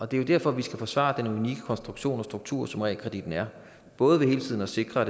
det er derfor at vi skal forsvare den unikke konstruktion og struktur som realkreditten er både ved hele tiden at sikre